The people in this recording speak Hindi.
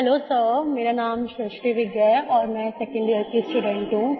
हेलो सर मेरा नाम सृष्टि विद्या है और मैं 2nd यियर की स्टूडेंट हूँ